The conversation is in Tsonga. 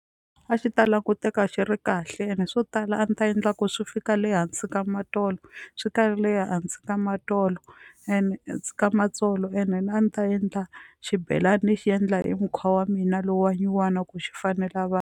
A xi ta languteka xi ri kahle ene swo tala a ndzi ta endla ku swi fika le hansi ka swi karhi le hansi ka ene ka matsolo ene a ndzi ta endla xibelani xi endla hi mukhuva wa mina lowu wa nyuwana ku xi fanela vanhu.